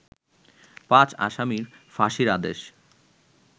পাঁচ আসামির ফাঁসির আদেশ